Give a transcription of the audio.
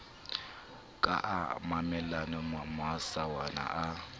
ka a mamellang masawana a